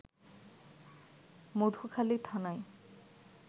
মধুখালী থানায়